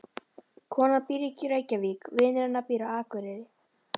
Konan býr í Reykjavík. Vinur hennar býr á Akureyri.